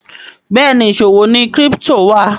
Béèni ìṣòwò ní crypto wa.